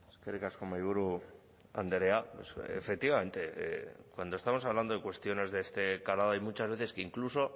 eskerrik asko mahaiburu andrea efectivamente cuando estamos hablando de cuestiones de este calado hay muchas veces que incluso